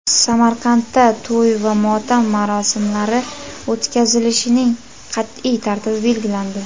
Samarqandda to‘y va motam marosimlari o‘tkazishning qat’iy tartibi belgilandi.